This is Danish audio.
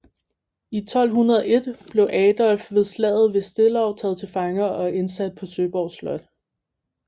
I 1201 blev Adolf ved slaget ved Stellau taget til fange og indsat på Søborg Slot